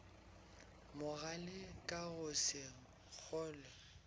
mogale ka go se kgolwe